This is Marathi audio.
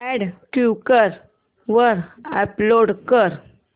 अॅड क्वीकर वर अपलोड कर